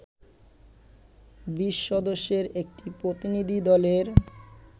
২০ সদস্যের একটি প্রতিনিধি দলের